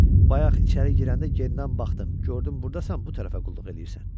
Bayaq içəri girəndə genindən baxdım, gördüm burdasan bu tərəfə qulluq eləyirsən.